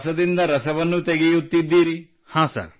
ಹಾಗೂ ತ್ಯಾಜ್ಯವಾಗಿ ಹೋಗುವುದರಿಂದ ಉತ್ತಮವಾದದ್ದನ್ನು ನಿರ್ಮಿಸುತ್ತಿದ್ದೀರಿ